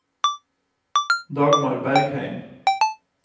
Dagmar Bergheim